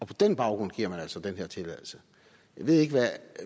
på den baggrund giver man altså den her tilladelse jeg ved ikke hvad